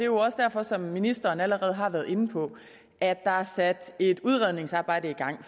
også derfor som ministeren allerede har været inde på at der er sat et udredningsarbejde i gang